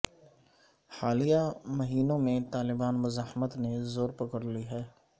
حالیہ مہینوں میں طالبان مزاحمت نے زور پکڑ لی ہے